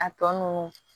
A tɔ ninnu